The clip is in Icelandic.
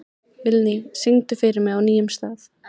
Vilný, syngdu fyrir mig „Á nýjum stað“.